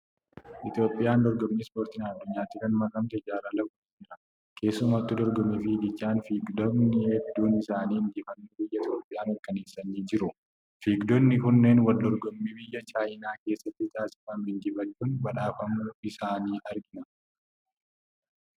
Itoophiyaan dorgommii ispoortiidhaan addunyaatti kan makamte jaarraa lakkoofsiseera. Keessumattuu dorgommii fiiggichaan fiigdotni hedduun isaanii injifannoo biyya Itoophiyaa mirkaneessanii jiru. Fiigdonni kunneen wal dorgommii biyya Chaayinaa keessatti taasifame injifachuun badhaafamuu isaanii argina.